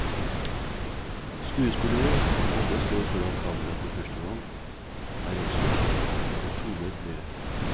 Skuespillerne, som alle står foran kamera for første gang, er også tonet ned.